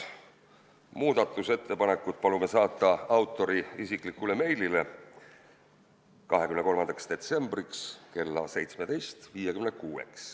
Muudatusettepanekud palume saata autori isiklikule meilile 23. detsembriks kella 17.56-ks.